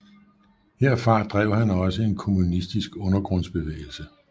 Herfra drev han også en kommunistisk undergrundsbevægelse